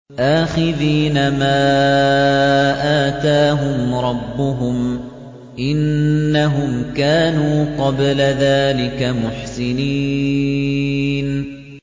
آخِذِينَ مَا آتَاهُمْ رَبُّهُمْ ۚ إِنَّهُمْ كَانُوا قَبْلَ ذَٰلِكَ مُحْسِنِينَ